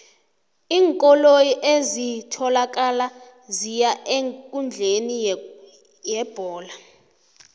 iinkoloyi ezitholakala ziya eenkundleni yebholo